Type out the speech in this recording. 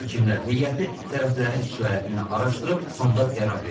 Hakimlər heyəti tərəflərin şikayətini araşdırıb, sonda qərar veriblər.